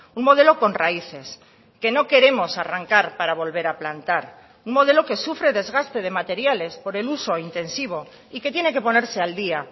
un modelo con raíces que no queremos arrancar para volver a plantar un modelo que sufre desgaste de materiales por el uso intensivo y que tiene que ponerse al día